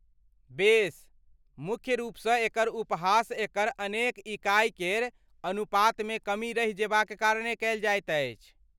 बेस, मुख्य रूपसँ एकर उपहास एकर अनेक इकाइ केर अनुपातमे कमी रहि जेबाक कारणे कयल जाइत अछि।